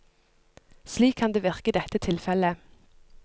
Slik kan det virke i dette tilfelle.